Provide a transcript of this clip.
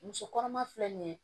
Muso kɔnɔma filɛ nin ye